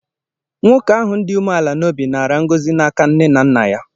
Nwoke ahụ dị umeala n’obi nara ngọzi n'aka nne na nna ya.